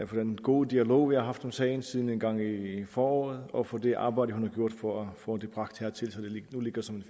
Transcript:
for den gode dialog vi har haft om sagen siden engang i foråret og for det arbejde hun har gjort for at få det bragt hertil så det nu ligger som et